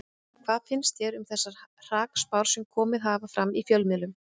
Hvað finnst þér um þessar hrakspár sem komið hafa fram í fjölmiðlum?